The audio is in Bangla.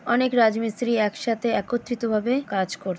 অনেক রাজমিস্ত্রি একসাথে একত্রিতভাবে কাজ কর--